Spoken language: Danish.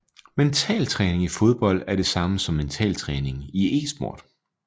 Mentaltræning i fodbold er det samme som mentaltræning i esport